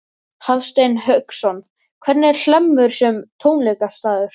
Hafsteinn Hauksson: Hvernig er Hlemmur sem tónleikastaður?